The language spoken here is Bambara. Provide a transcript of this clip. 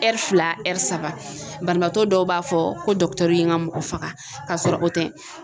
fila saba banabaatɔ dɔw b'a fɔ ko ye n ka mɔgɔ faga ka sɔrɔ o tɛ